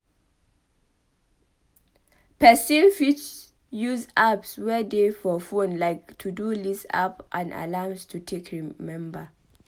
Person fit use apps wey dey for phone like to-do list app and alarms to take remember